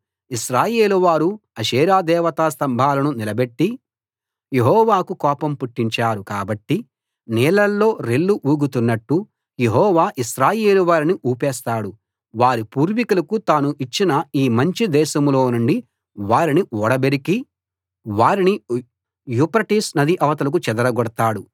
ఇశ్రాయేలువారు Asherah దేవతా స్తంభాలను నిలబెట్టి యెహోవాకు కోపం పుట్టించారు కాబట్టి నీళ్ళల్లో రెల్లు ఊగుతున్నట్టు యెహోవా ఇశ్రాయేలు వారిని ఊపేస్తాడు వారి పూర్వీకులకు తాను ఇచ్చిన ఈ మంచి దేశంలో నుండి వారిని ఊడబెరికి వారిని యూఫ్రటీసు నది అవతలకు చెదరగొడతాడు